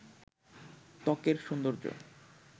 ত্বকের সৌন্দর্য